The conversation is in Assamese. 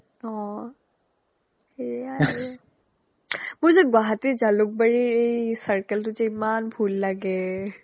অ অ সেয়াই আৰু মোৰ যে guwahatiৰ jalukbariৰ এই circleটোত যে ইমান ভূল লাগে